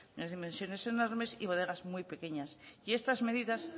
de unas dimensiones enormes y bodegas muy pequeñas y estas medidas